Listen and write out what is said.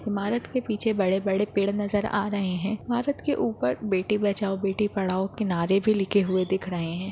इमारत के पीछे बड़े-बड़े पेड़ नजर आ रहे है इमारत के ऊपर बेटी बचाओ बेटी पढ़ाओ के नारे भी लिखे हुए दिख रहे है।